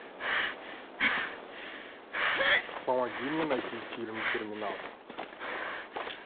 помоги мне найти фильм терминал